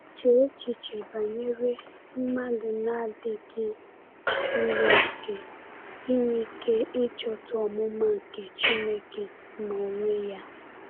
Chee echiche banyere mmadụ na-adịghị zuru okè inwe ike ịchọta “omụma nke Chineke n’onwe ya”!